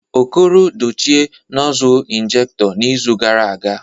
Okoro dochie nozzle injekto n'izu gara aga